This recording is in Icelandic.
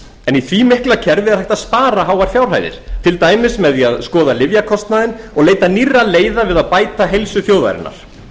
en í því mikla kerfi er hægt að spara háar fjárhæðir til dæmis með því að skoða lyfjakostnaðinn og leita nýrra leiða við að bæta heilsu þjóðarinnar